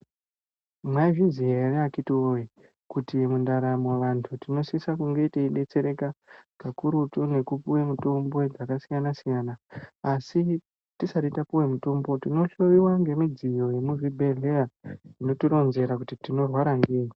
Mwaizviziya ere akhitiwoye, kuti mundaramo vantu tinosise kunge teidetsereka, kakurutu nekupuwe mitombo dzakasiyana-siyana. Asi tisati tapuwe mitombo tinohloiwa ngemidzyo yemuchibhedhleya, inotironzera kuti tinorwara ngeyi.